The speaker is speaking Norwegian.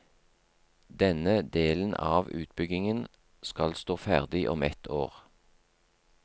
Denne delen av utbyggingen skal stå ferdig om ett år.